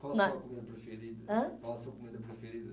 Qual a sua comida preferida? Ãh. Qual a sua comida preferida?